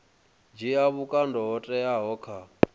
dzhia vhukando ho teaho kha